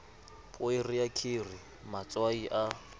poere ya kheri matswai a